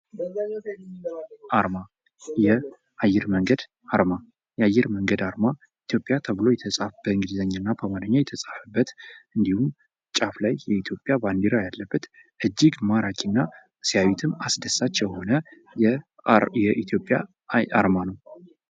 ዓርማ የአየር መንገድ ዓርማ ኢትዮጵያ ተብሎ በእንግሊዘኛ እና በአማርኛ የተጻፈበት እንዲሁም፤ ጫፍ ላይ የኢትዮጵያ ባንዲራ ያለበት እጅግ ማራኪና ሲያዩትም አስደሳች የሆነ የኢትዮጵያ አርማ ነው።